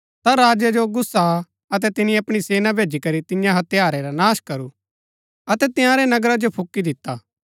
ता राजा जो गुस्सा आ अतै तिनी अपणी सेना भैजी करी तियां हत्यारै रा नाश करू अतै तंयारै नगरा जो फूकी दिता